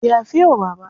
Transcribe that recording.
Yafe wa Bala.